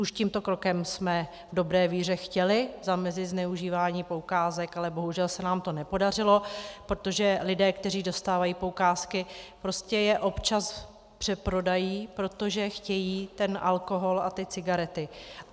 Už tímto krokem jsme v dobré víře chtěli zamezit zneužívání poukázek, ale bohužel se nám to nepodařilo, protože lidé, kteří dostávají poukázky, prostě je občas přeprodají, protože chtějí ten alkohol a ty cigarety.